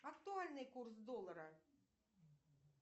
актуальный курс доллара